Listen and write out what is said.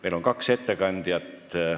Meil on kaks ettekandjat.